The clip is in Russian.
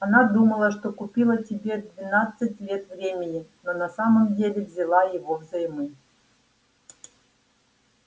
она думала что купила тебе двенадцать лет времени но на самом деле взяла его взаймы